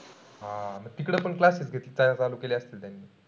हा तिकडं पण classes घेता चालू केले असतील त्यांनी.